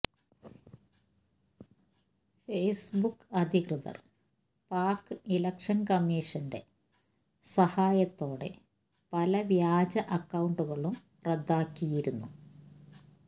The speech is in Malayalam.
ഫേസ്ബുക്ക് അധികൃതർ പാക്ക് ഇലക്ഷൻ കമ്മിഷന്റെ സഹായത്തോടെ പല വ്യാജ അക്കൌണ്ടുകളും റദ്ദാക്കിയിരുന്നു